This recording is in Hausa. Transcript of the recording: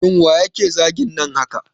Shin waye yake zagin nan haka